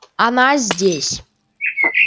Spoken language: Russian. она здесь